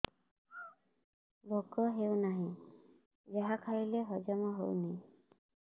ଭୋକ ହେଉନାହିଁ ଯାହା ଖାଇଲେ ହଜମ ହଉନି